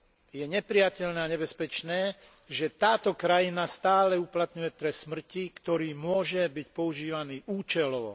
Je neprijateľné a nebezpečné, že táto krajina stále uplatňuje trest smrti, ktorý môže byť používaný účelovo.